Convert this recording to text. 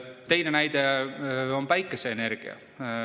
Teine näide on päikeseenergia.